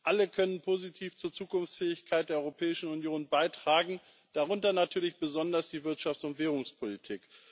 Alle können positiv zur Zukunftsfähigkeit der Europäischen Union beitragen, darunter natürlich besonders die Wirtschafts und Währungspolitik.